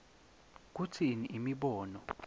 kutsini imibono